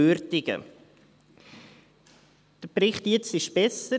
Der jetzige Bericht ist besser;